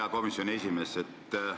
Hea komisjoni esimees!